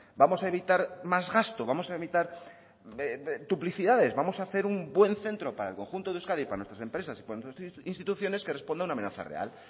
vamos a evitar más gasto vamos a evitar duplicidades vamos a hacer un buen centro para el conjunto de euskadi para nuestras empresas y para nuestras instituciones que respondan a una amenaza real